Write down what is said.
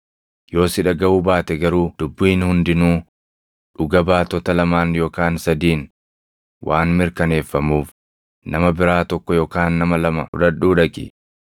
Yoo si dhagaʼuu baate garuu ‘dubbiin hundinuu dhuga baatota lamaan yookaan sadiin waan mirkaneeffamuuf’ nama biraa tokko yookaan nama lama fudhadhuu dhaqi.